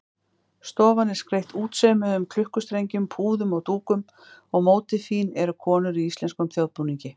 Stofan er skreytt útsaumuðum klukkustrengjum, púðum og dúkum og mótífin eru konur í íslenskum þjóðbúningi.